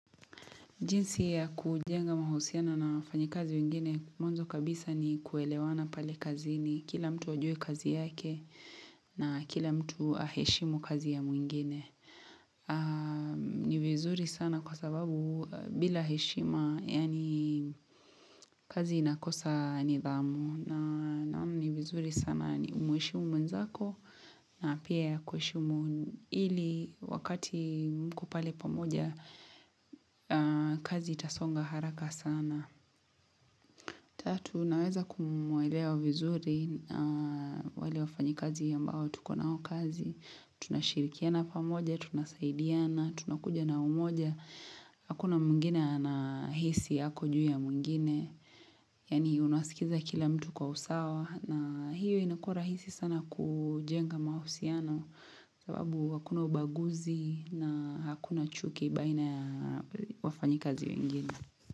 Jinsi ya kujenga mahusiano na wafanyikazi wengine mwanzo kabisa ni kuelewana pale kazini kila mtu ajue kazi yake na kila mtu aheshimu kazi ya mwingine ni vizuri sana kwa sababu bila heshima yani kazi inakosa nidhamu na naona ni vizuri sana ni mheshimu mwenzako na pia akuheshimu ili wakati mko pale pamoja kazi itasonga haraka sana Tatu, naweza kumuelewa vizuri na wale wafanyikazi ambao tuko nao kazi tunashirikiana pamoja tunasaidiana tunakuja na umoja Hakuna mwingine anahisi ako juu ya mwingine yani unasikiza kila mtu kwa usawa na hiyo inakuwa rahisi sana kujenga mahusiano ababu hakuna ubaguzi na hakuna chuki baina ya wafanyikazi wengine.